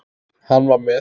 Hann var með